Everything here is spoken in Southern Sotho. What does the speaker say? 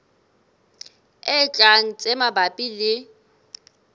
e tlang tse mabapi le